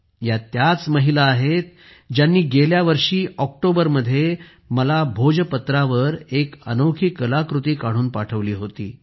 या त्याच महिला आहेत ज्यांनी गेल्या वर्षी ऑक्टोबर मध्ये मला भोजपत्रावर एक अनोखी कलाकृती काढून पाठवली होती